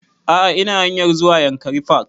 A'a ina hanayr zuwa yankari park